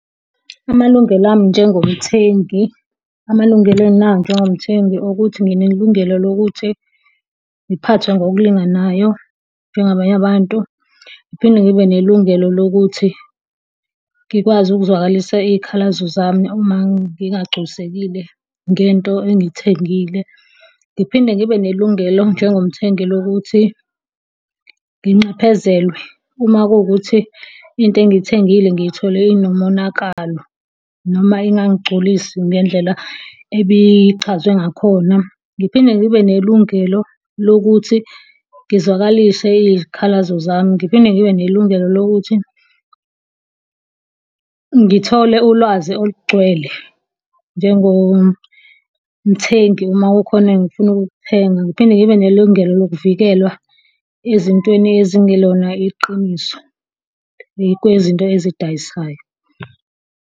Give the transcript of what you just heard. Amalungelo ami njengomthengi, amalungelo enginawo njengomthengi ukuthi nginelungelo lokuthi ngiphathwe ngokulinganayo njengabanye abantu. Ngiphinde ngibe nelungelo lokuthi ngikwazi ukuzwakalisa iy'khalazo zami uma ngingagculisekile ngento engiy'thengile. Ngiphinde ngibe nelungelo njengomthengi lokuthi nginxephezelwe uma kuwukuthi into engiyithengile ngiyithole inomonakalo noma ingangigculisi ngendlela ebichazwe ngakhona. Ngiphinde ngibe nelungelo lokuthi ngizwakalise izikhalazo zami, ngiphinde ngibe nelungelo lokuthi ngithole ulwazi olugcwele njengomthengi uma kukhona engifuna ukukuthenga. Ngiphinde ngibe nelungelo lokuvikelwa ezintweni ezingelona iqiniso kwezinto ezidayisayo.